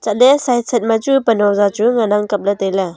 atha le side side ma chu pan hong chu ngana kap ley.